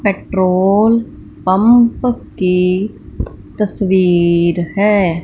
Petrol pump की तस्वीर है।